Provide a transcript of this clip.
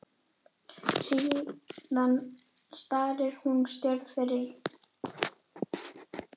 Síðan starir hún stjörf fram fyrir sig.